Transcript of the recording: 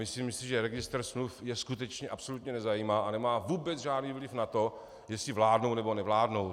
Myslím si, že registr smluv je skutečně absolutně nezajímá a nemá vůbec žádný vliv na to, jestli vládnou, nebo nevládnou.